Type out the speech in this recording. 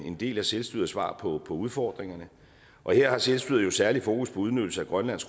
en del af selvstyrets svar på udfordringerne og her har selvstyret jo særlig fokus på udnyttelse af grønlands